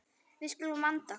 Við skulum vanda okkur.